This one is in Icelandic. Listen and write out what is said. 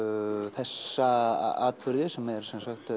þessa atburði sem er